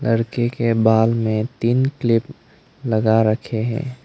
लड़के के बाल में तीन क्लिप लगा रखे हैं।